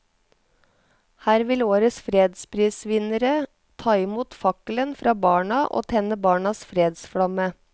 Her vil årets fredsprisvinnere ta i mot fakkelen fra barna og tenne barnas fredsflamme.